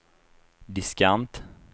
diskant